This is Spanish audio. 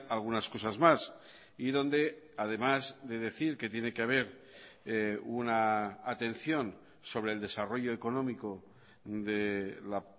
algunas cosas más y donde además de decir que tiene que haber una atención sobre el desarrollo económico de la